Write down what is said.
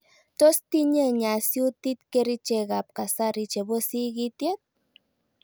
Tos tinye nyasyutik kerichek ab kasari chebo sigisyet?